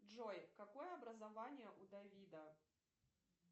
джой какое образование у давида